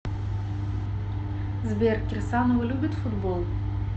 сбер кирсанова любит футбол